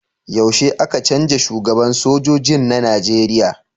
Yaushe aka cenja shugaban sojojin na nigeria?